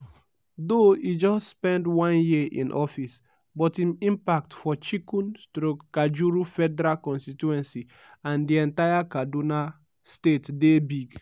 “though e just spend one year in office but im impact for chikun/kajuru federal constituency and di entire kaduna state dey big.